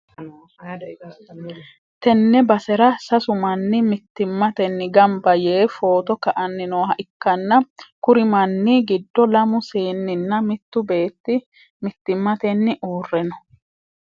tenne basera sasu manni mittimmatenni gamba yee footo ka'anni nooha ikkanna, kuri manni giddono lamu seeninna mittu beetti mittimmatenni uurre no.